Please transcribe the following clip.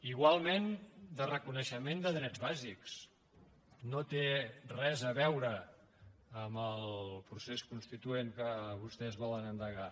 igualment de reconeixement de drets bàsics no té res a veure amb el procés constituent que vostès volen endegar